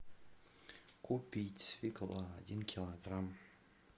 купить свекла один килограмм